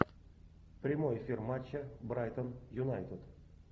прямой эфир матча брайтон юнайтед